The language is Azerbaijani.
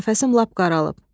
Nəfəsim lap qaralıb.